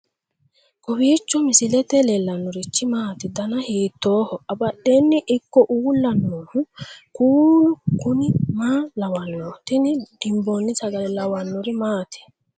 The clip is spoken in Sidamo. kowiicho misilete leellanorichi maati ? dana hiittooho ?abadhhenni ikko uulla noohu kuulu kuni maa lawannoho? tini dimboonni sagale lawannori maati